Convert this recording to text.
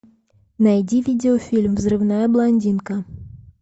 найди видеофильм взрывная блондинка